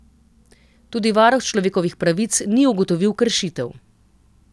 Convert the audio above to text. Tudi varuh človekovih pravic ni ugotovil kršitev.